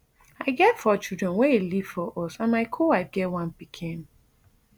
i get four children wey e leave for us and my co wife get one pikin